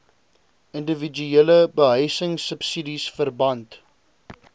indiwiduele behuisingsubsidies verband